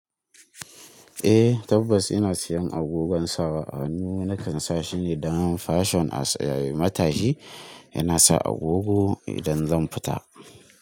Eh tabbas ina siyan agogon sawa. A hannu na kan sa shine don fashion as a matashi yana sa agogo idan zan fita.